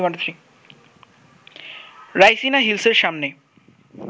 রাইসিনা হিলসের সামনে